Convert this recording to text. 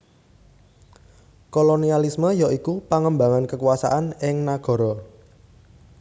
Kolonialisme ya iku pangembangan kekuasaan ing nagara